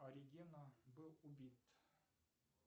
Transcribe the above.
оригена был убит